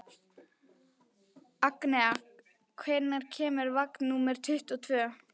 Agnea, hvenær kemur vagn númer tuttugu og tvö?